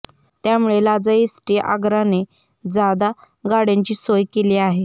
त्यामुळे लांजा एसटी आगाराने जादा गाड्यांची सोय केली आहे